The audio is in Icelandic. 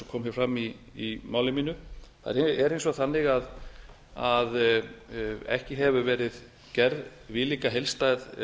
komið afar fram í máli mínu það er hins vegar þannig að ekki hefur verið gerð viðlíka heildstæð